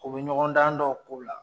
U bɛ ɲɔgɔndan dɔw k'o la